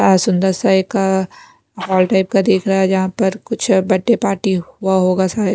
सुंदर सा एक हॉल टाइप का दिख रहा है जहां पर कुछ बर्थडे पार्टी हुआ होगा शायद--